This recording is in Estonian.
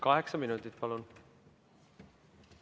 Kaheksa minutit, palun!